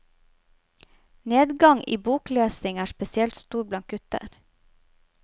Nedgangen i boklesing er spesielt stor blant gutter.